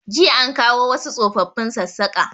Jiya an kawo wasu tsofafin Sassaƙa